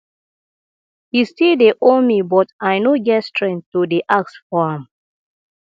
he still dey owe me but i no get strength to dey ask for am